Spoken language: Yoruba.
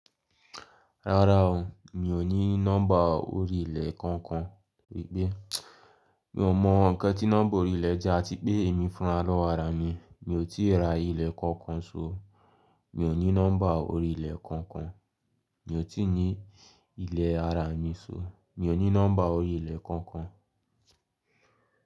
Rárá o, mi ò ní nọ́mbà orí ilẹ̀ kankan. Gbigbe, mi ò mọ nǹkan tí nọ́mbà orí ilẹ̀ jẹ́ àti pé èmi fúnra lọ́wọ́ ara mi. Mi ò tíì ra ilẹ̀ kankan so. Mi ò ní nọ́mbà orí ilẹ̀ kankan. Mi ò tíì ní ilẹ̀ ara mi so. Mi ò ní nọ́mbà orí ilẹ̀ kankan.